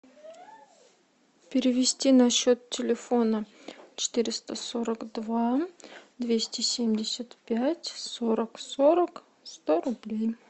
перевести на счет телефона четыреста сорок два двести семьдесят пять сорок сорок сто рублей